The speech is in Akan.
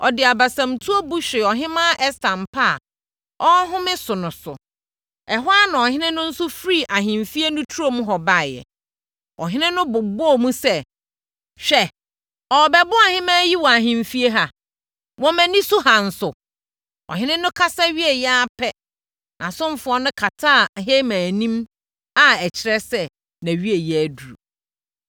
Ɔde abasamutuo bu hwee Ɔhemmaa Ɛster mpa a ɔrehome so no so. Ɛhɔ ara na ɔhene no nso firii ahemfie no turo mu hɔ baeɛ. Ɔhene no bobɔɔ mu sɛ, “Hwɛ ɔrebɛboro ɔhemmaa yi wɔ ahemfie ha, wɔ mʼani so ha nso?” Ɔhene no kasa wieeɛ ara pɛ, nʼasomfoɔ no kataa Haman anim a ɛkyerɛ sɛ, nʼawieeɛ aduru. + 7.8 Sɛ wɔkata obi tiri so a, na ɛkyerɛ sɛ wɔabu no kumfɔ.